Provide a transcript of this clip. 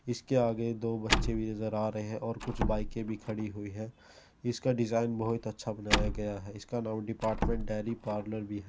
इसके आगे दो बच्चे भी नजर आ रहे हैं और कुछ बाइकें भी खड़ी हुई हैं। इसका डिज़ाइन बहुत अच्छा बनाया गया है। इसका नाम डिपार्टमेंट डेरी पार्लर भी है।